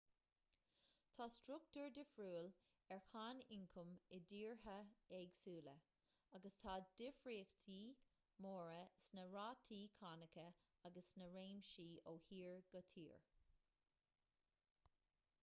tá struchtúr difriúil ar cháin ioncaim i dtíortha éagsúla agus tá difríochtaí móra sna rátaí cánacha agus sna réimsí ó thír go tír